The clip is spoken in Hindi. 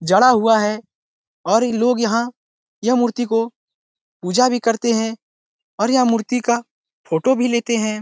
जड़ा हुआ है और लोग यहाँ यह मूर्ति को पूजा भी करते है और यह मूर्ति का फोटो भी लेते है।